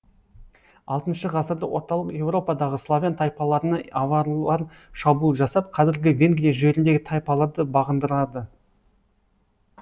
алтыншы ғасырда орталық еуропадағы славян тайпаларына аварлар шабуыл жасап казіргі венгрия жеріндегі тайпаларды бағындырады